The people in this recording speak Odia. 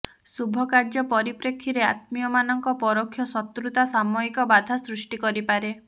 ଶୁଭକାର୍ଯ୍ୟ ପରିପ୍ରେକ୍ଷୀରେ ଆତ୍ମୀୟମାନଙ୍କ ପରୋକ୍ଷ ଶତ୍ରୁତା ସାମୟିକ ବାଧା ସୃଷ୍ଟି କରିପାରେ